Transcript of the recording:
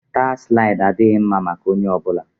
Staa slaịdị adịghị mma maka onye ọ bụla